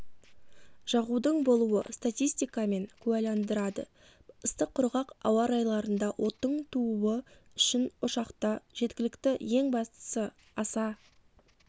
жағудың болуы статистикамен куәландырады ыстық құрғақ ауа-райларында оттың тууы үшін ошақта жеткілікті ең бастысы аса